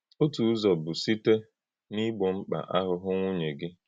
Otu ụzọ̀ bụ́ sịté n’ígbò mkpa ànụ́hụ́ nwùnyè gị.